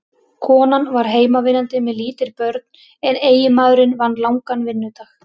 Konan var heimavinnandi með lítil börn en eiginmaðurinn vann langan vinnudag.